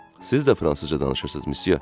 Siz də fransızca danışırsınız, Msye.